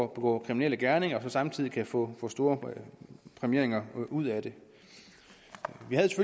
begå kriminelle gerninger og samtidig kan få store præmieringer ud af det